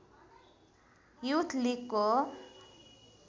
youth लिगको